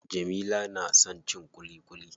Jamila na son cin ƙuliƙuli.